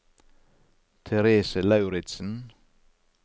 Therese Lauritsen